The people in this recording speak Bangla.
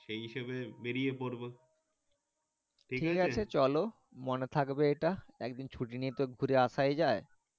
সেই হিসেবে বেরিয়ে পড়বো ঠিক আছে চলো মনে থাকবে এটা এক দিন ছুটি নিয়ে তো আশাই যাই।